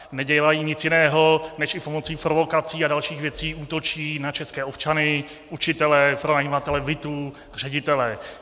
Nedělají nic jiného než i pomocí provokací a dalších věcí útočí na české občany, učitele, pronajímatele bytů, ředitele.